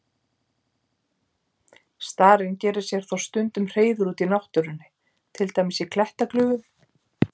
Starinn gerir sér þó stundum hreiður úti í náttúrunni, til dæmis í klettaglufum.